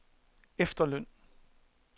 efterløn